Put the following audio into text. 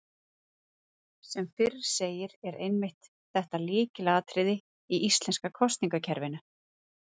Sem fyrr segir er einmitt þetta lykilatriði í íslenska kosningakerfinu.